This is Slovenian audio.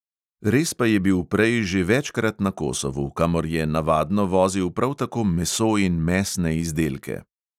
Res pa je bil prej že večkrat na kosovu, kamor je navadno vozil prav tako meso in mesne izdelke.